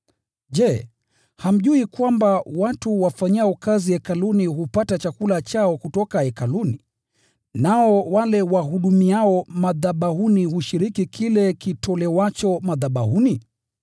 Je, hamjui kwamba, watu wafanyao kazi hekaluni hupata chakula chao kutoka hekaluni, nao wale wahudumiao madhabahuni hushiriki kile kitolewacho madhabahuni?